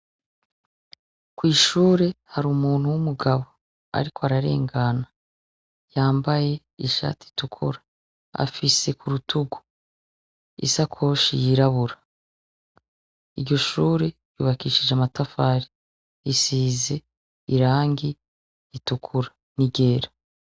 Kw'ishure hari umuntu w'umugabo, ariko ararengana yambaye ishati itukura afise ku rutugu isakoshi yirabura iryoshure yubakishije amatafari isize irangi ritukura ni ryera.